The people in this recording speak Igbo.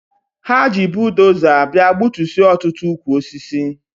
Ha ji budoza bịa gbutusịa ọtụtụ ukwu osisi.